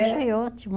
Achei ótimo.